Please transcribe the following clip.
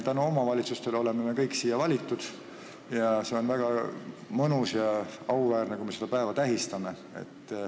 Tänu omavalitsustele oleme me kõik siia valitud ning see on väga mõnus ja auväärne, kui me seda päeva tähistame.